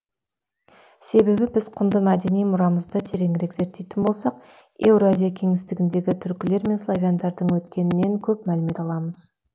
себебі біз құнды мәдени мұрамызды тереңірек зерттейтін болсақ еуразия кеңістігіндегі түркілер мен славяндардың өткенінен көп мәлімет аламыз